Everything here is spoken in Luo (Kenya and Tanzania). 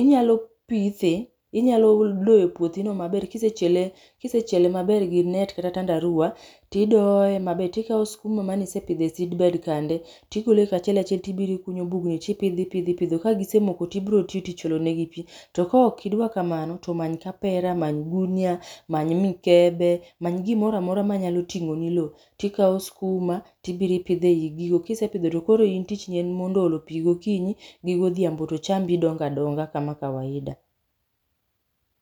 inyalo pithe, inyalo doyo puothi no maber kisechiele, kisechiele maber gi net kata tandarua tidoye maber tikao skuma mane isepidho e seedbed kande tigolo kachiel achiel tiiro ikunyo bugni tipidho ipidho ipidho, ka gisemoko to ibiro timo tich olo negi pii. To ka ok idwa kamano to many kapera, many gunia, many mikebe, many gimoro amora manyalo ting'o ni loo ,tikao skuma tibiroi ipidho ei gigo. Kisepidho tokoro in tich ni en mondo olo negi pii gokinyi gi godhiambo to chambi dongo adonga kama kawaida